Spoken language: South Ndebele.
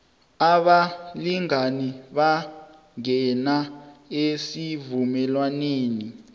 abalingani bangena esivumelwaneni